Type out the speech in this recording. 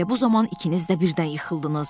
Elə bu zaman ikiniz də birdən yıxıldınız.